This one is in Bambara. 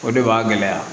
O de b'a gɛlɛya